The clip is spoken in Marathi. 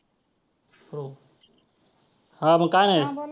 हो हां मग काय नाही.